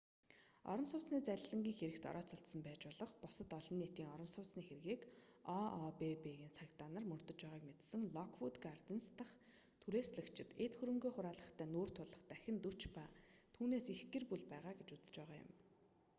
орон сууцны залилангийн хэрэгт орооцолдсон байж болох бусад олон нийтийн орон сууцны хэргийг ообб-ын цагдаа нар мөрдөж байгааг мэдсэн локвүүд гарденс дахь түрээслэгчид эд хөрөнгөө хураалгахтай нүүр тулах дахин 40 ба түүнээс их гэр бүл байгаа гэж үзэж байгаа юм